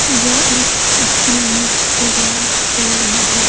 यह एक स्कूल में प्रोग्राम चल रहा है।